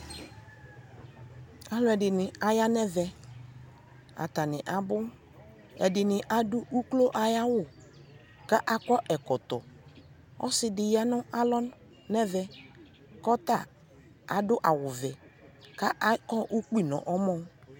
alʋɛdini aya nʋ ɛvɛ, atani abʋ, ɛdini adʋ ʋklɔ ayi awʋ kʋ akɔ ɛkɔtɔ, ɔsiidi yanʋ alɔ nʋ ɛvɛ kʋ ɔta adʋ awʋ vɛ kʋ akɔ ʋkpi nʋ ɔmɔ